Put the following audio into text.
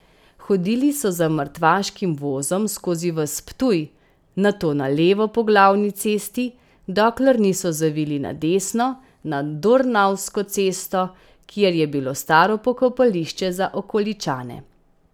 Hodili so za mrtvaškim vozom skozi ves Ptuj, nato na levo po glavni cesti, dokler niso zavili na desno, na Dornavsko cesto, kjer je bilo staro pokopališče za okoličane.